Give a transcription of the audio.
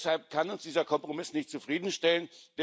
Deshalb kann uns dieser Kompromiss nicht zufriedenstellen.